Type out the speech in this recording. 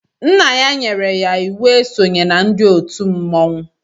Nna ya nyere ya íwú e sonyela ndị òtù mmọnwụ